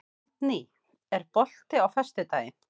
Aldný, er bolti á föstudaginn?